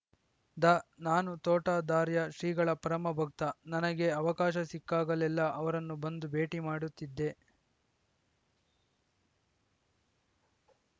the ನಾನು ತೋಂಟದಾರ್ಯ ಶ್ರೀಗಳ ಪರಮ ಭಕ್ತ ನನಗೆ ಅವಕಾಶ ಸಿಕ್ಕಾಗಲೆಲ್ಲಾ ಅವರನ್ನು ಬಂದು ಭೇಟಿ ಮಾಡುತ್ತಿದ್ದೆ